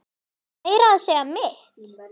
Meira að segja mitt